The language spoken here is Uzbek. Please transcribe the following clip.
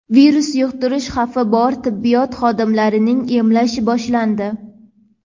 virus yuqtirish xavfi bor tibbiyot xodimlarini emlash boshlandi.